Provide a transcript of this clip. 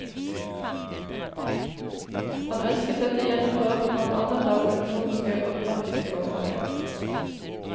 Han ønsker dette gjennomført blant annet av økonomiske og praktiske årsaker.